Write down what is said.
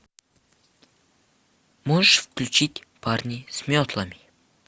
можешь включить парни с метлами